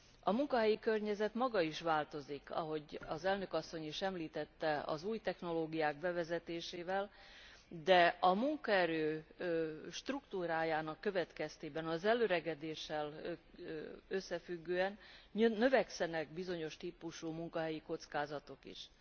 A munkahelyi környezet maga is változik ahogy az elnök asszony is említette az új technológiák bevezetésével, de a munkaerő struktúrájának következtében az elöregedéssel összefüggően növekszenek bizonyos típusú munkahelyi kockázatok is.